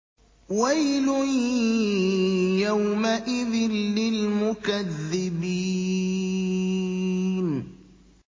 وَيْلٌ يَوْمَئِذٍ لِّلْمُكَذِّبِينَ